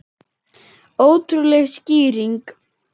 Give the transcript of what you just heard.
Ótrúleg skýring